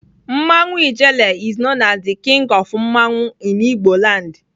Mmanwụ ijele is known as the king of mmanwụ in igboland